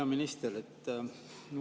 Hea minister!